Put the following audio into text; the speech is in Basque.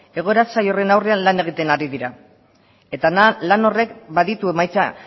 egoera zail horren aurre lan egiten ari dira eta lan horrek baditu emaitza